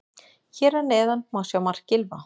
Hér að neðan má sjá mark Gylfa.